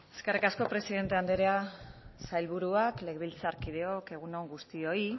eskerrik asko presidente andrea sailburuak legebiltzarkideok egun on guztioi